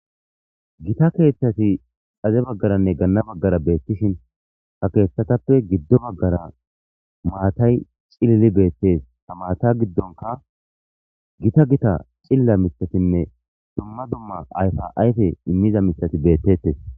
Gita keeththati xade bagaranne gana bagara betishin hesatappe gido bagara maatay c'lili beetes ha maata gidonkka gita gita c'ilila miiththatinne dumma dumma ayfa ayfe imiza miiththati beetetes.